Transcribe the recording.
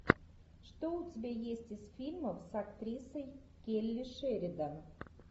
что у тебя есть из фильмов с актрисой келли шеридан